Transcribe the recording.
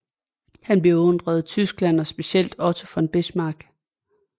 Han beundrede Tyskland og specielt Otto von Bismarck